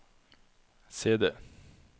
CD